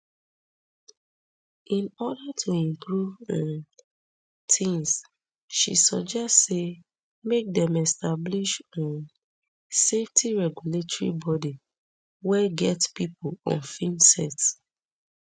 in order to improve um tins she suggest say make dem establish um safety regulatory bodi wey get pipo on film sets